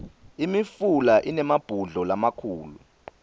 imifula inemabhudlo lamakhulu